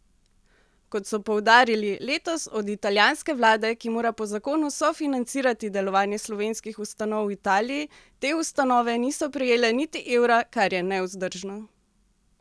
Kot so poudarili, letos od italijanske vlade, ki mora po zakonu sofinancirati delovanje slovenskih ustanov v Italiji, te ustanove niso prejele niti evra, kar je nevzdržno.